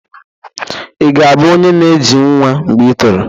Ị ga-abụ onye na-eji nwa mgbe i toro?